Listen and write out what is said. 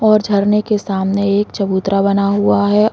और झरने के सामने एक चबूतरा बना हुआ है।